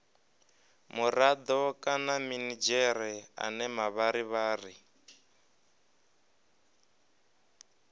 murado kana minidzhere ane mavharivhari